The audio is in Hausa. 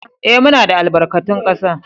Ee, muna da albarkatun kasa